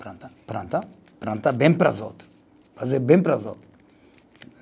Planta, planta, planta bem para os outro, fazer bem para os outro.